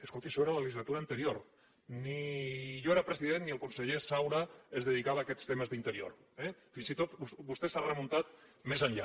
escolti això era a la legislatura anterior ni jo era president ni el conseller saura es dedicava a aquests temes d’interior eh fins i tot vostè s’ha remuntat més enllà